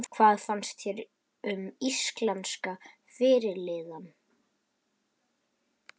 Hvað fannst þér um íslenska fyrirliðann?